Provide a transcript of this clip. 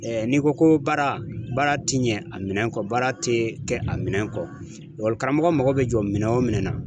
n'i ko ko baara, baara ti ɲɛ a minɛn kɔ, baara te kɛ a minɛn kɔ. karamɔgɔ mako be jɔ minɛn wo minɛn na